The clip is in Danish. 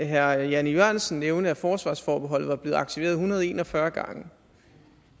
herre jan e jørgensen nævnte at forsvarsforbeholdet var blevet aktiveret en hundrede og en og fyrre gange